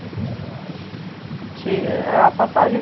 a passagem. Te a passagem